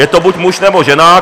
Je to buď muž, nebo žena.